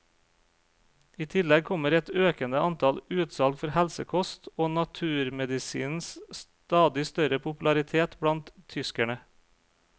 I tillegg kommer et økende antall utsalg for helsekost og naturmedisinens stadig større popularitet blant tyskerne.